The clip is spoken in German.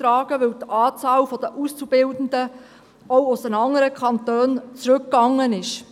Dies, weil die Anzahl der Auszubildenden auch aus den anderen Kantonen zurückgegangen ist.